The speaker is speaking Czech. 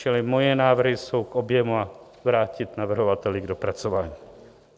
Čili moje návrhy jsou k objemu a vrátit navrhovateli k dopracování.